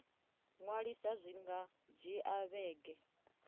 ṅwalisa zwi nga dzhia vhege